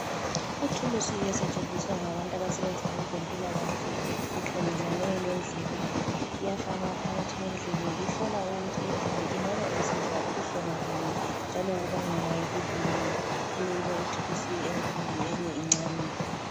Ithuli esetshenziswa ngabantu abasebenza kwezempilakahle bekhangelane lendlebe, iyafakwa phakathi kwendlebe ihlola ukuthi indlebe ingabe isizwa ubuhlungu bani njalo kubangelwa yikwiyini kuleyinye ithulusi enkulu eyinye incane.